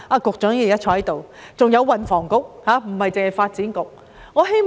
局長現時在席，還有運房局，不單是發展局。